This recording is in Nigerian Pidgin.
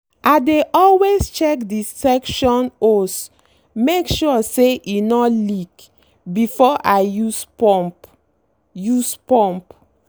i dey always check the suction hose make sure say e no leak before i use pump. use pump.